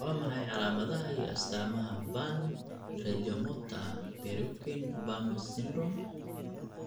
Waa maxay calaamadaha iyo astaamaha Van Regemorter Pierquin Vamos syndrome?